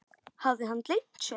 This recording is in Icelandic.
Hafði hann gleymt sér?